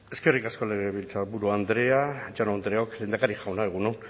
eskerrik asko legebiltzarburu andrea jaun andreok lehendakari jauna egun on